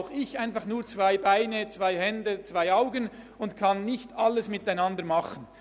Auch ich habe nur zwei Beine, zwei Hände und zwei Augen und kann nicht alles gleichzeitig machen.